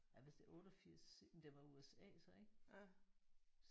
Ja hvis det er 88 det var USA så ik?